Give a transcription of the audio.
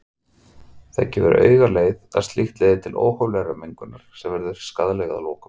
Það gefur augaleið að slíkt leiðir til óhóflegrar megrunar sem verður skaðleg að lokum.